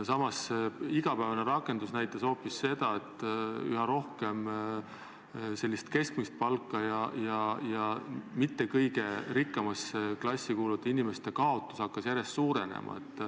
Samas, igapäevane rakendus näitas hoopis seda, et keskmist palka saavate ja mitte kõige rikkamasse klassi kuuluvate inimeste kaotus hakkas järjest suurenema.